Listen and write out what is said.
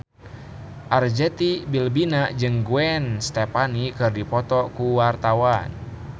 Arzetti Bilbina jeung Gwen Stefani keur dipoto ku wartawan